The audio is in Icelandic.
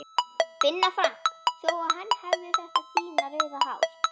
Binna Frank þó að hann hefði þetta fína rauða hár.